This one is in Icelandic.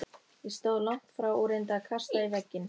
Ég stóð langt frá og reyndi að kasta í vegginn.